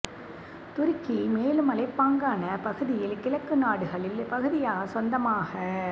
துருக்கி மேலும் மலைப்பாங்கான பகுதியில் கிழக்கு நாடுகளில் பகுதியாக சொந்தமாக